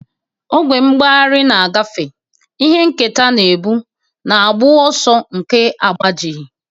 Ogwe mgbagharị na-agafe, ihe nketa na-ebu, na agbụ ọsọ nke agbajighị.